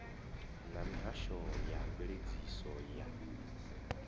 na mihasho ya mveledziso ya